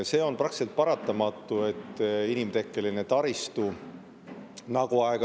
See on praktiliselt paratamatu, et inimtekkelisel taristul on.